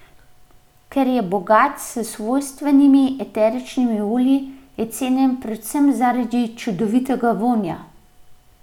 Ker je bogat s svojstvenimi eteričnimi olji, je cenjen predvsem zaradi čudovitega vonja.